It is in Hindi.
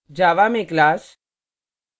java में class